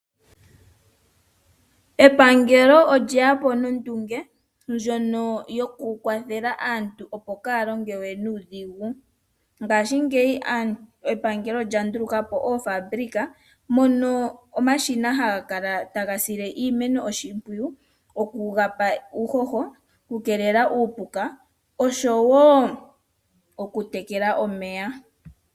Epangelo olye yapo nondunge, ndjono yo ku kwathela aantu kaa ya longe nuudhigu. Ngashingeyi epangelo olya ndulukapo oofabulika, mono omashina ha ga sile iimeno oshimpwiyu oku yi pa uuhoho, osho wo oku tekela omeya.